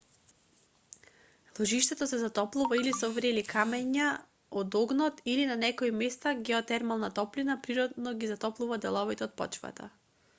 ложиштето се затоплува или со врели камења од огнот или на некои места геотермалната топлина природно ги затоплува деловите од почвата